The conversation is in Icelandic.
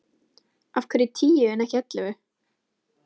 Af hverju tíu en ekki ellefu?